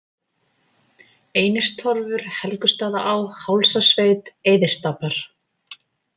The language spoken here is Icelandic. Einistorfur, Helgustaðaá, Hálsasveit, Eiðisstapar